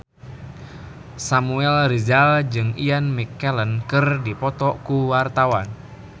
Samuel Rizal jeung Ian McKellen keur dipoto ku wartawan